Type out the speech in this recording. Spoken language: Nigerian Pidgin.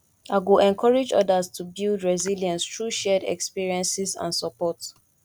i go encourage others to build resilience through shared experiences and support